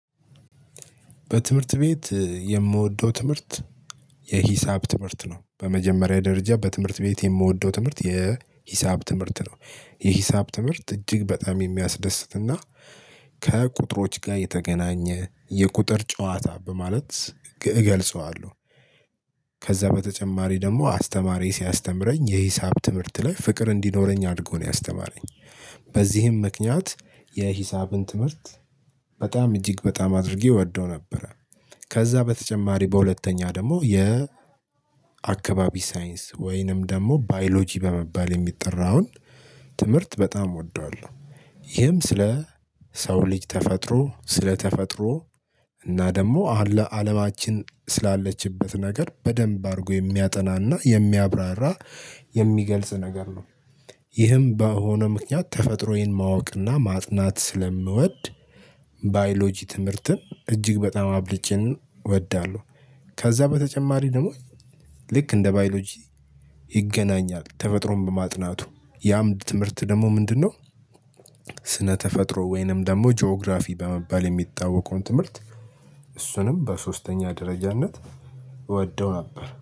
በትምህርት ቤት የምወደው ትምህርት የሂሳብ ትምህርት ነው በመጀመሪያ ደረጃ በትምህርት ቤት የምወደው ትምህርት የሂሳብ ትምህርት ነው። የሂሳብ ትምህርት እጅግ በጣም የሚያስደስትና ከቁጥሮች ጋር የተገናኘ የቁጥር ጨዋታ በማለት እገልጸዋለሁ። ከዛ በተጨማሪ ደግሞ አስተማሪዬ ሲያስተምረኝ የሂሳብ ትምህርት ላይ ፍቅር እንዲኖረኝ አድርጎ ነው ያስተማረኝ። በዚህም ምክንያት የሂሳብን ትምህርት በጣም እጅግ በጣም አድርጌ እወደው ነበር። ከዛ በተጨማሪ በሁለተኛ ደግሞ የ አካባቢ ሳይንስ ወይንም ደግሞ ባዮሎጂ በመባል የሚጠራውን ትምህርት በጣም እወደዋለሁ። ይህም ስለ ሰው ልጅ ተፈጥሮ ስለ ተፈጥሮ እና ደግሞ አለማችን ስላለችበት ነገር በደንብ አድርጎ የሚያጠናና የሚያብራራ የሚገልጽ ነገር ነው። ይህም በሆነ ምክንያት ተፈጥሮዬን ማወቅና ማጥናት ስለምወድ ባዮሎጂ ትምህርትን እጅግ በጣም አብልጬን እወዳለሁ። ከዛ በተጨማሪ ደግሞ ልክ እንደ ባዮሎጂ ይገናኛል ተፈጥሮን በማጥናቱ ያም ትምህርት ደግሞ ምንድነው? ስነ ተፈጥሮ ወይንም ደግሞ ጂኦግራፊ በመባል የሚታወቀውን ትምህርት እሱንም በሶስተኛ ደረጃነት እወደው ነበር